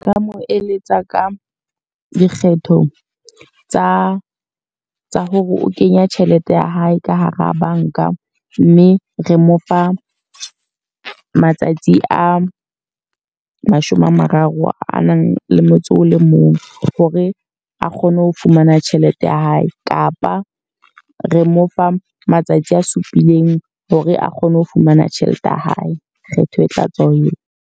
Nka mo eletsa ka dikgetho tsa tsa hore o kenya tjhelete ya hae ka hara banka. Mme re mo fa matsatsi a mashome a mararo a nang le motso o le mong. Hore a kgone ho fumana tjhelete ya hae. Kapa re mo fa matsatsi a supileng hore a kgone ho fumana tjhelete ya hae. Kgetho e tla tswa ho yena.